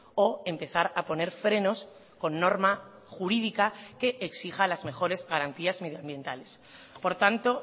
o empezar a poner frenos con norma jurídica que exija las mejores garantías medioambientales por tanto